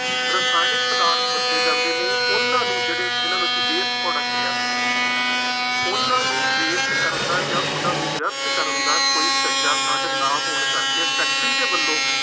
ਰਸਾਇਣਕ ਪਦਾਰਥ ਵਰਤੇ ਜਾਂਦੇ ਨੇ, ਉਹਨਾ ਨੂੰ ਜਿਹੜੇ ਜਿੰਨ੍ਹਾ ਨੂੰ ਅਸੀਂ waste product ਕਹਿ ਸਕਦੇ ਹਾਂ। ਉਹਨਾ ਨੂੰ waste ਕਰਨ ਦਾ ਜਾਂ ਉਹਨਾ ਨੂੰ ਵਿਅਰਥ ਕਰਨ ਦਾ ਕੋਈ ਸੁਚੱਜਾ ਸਾਧਨ ਨਾ ਹੋਣ ਕਰਕੇ ਫੈਕਟਰੀ ਦੇ ਵੱਲੋਂ